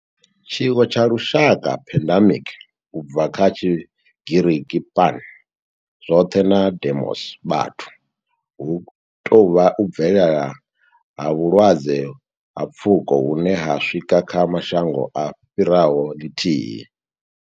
Tshiwo tsha lushaka, pandemic, u bva kha Tshigiriki pan, zwothe na demos, vhathu, hu tou vha u bvelela ha vhulwadze ha pfuko hune ho swika kha mashango a fhiraho lithihi.